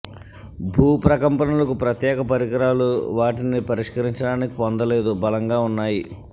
భూ ప్రకంపనలకు ప్రత్యేక పరికరాలు వాటిని పరిష్కరించడానికి పొందలేదు బలంగా ఉన్నాయి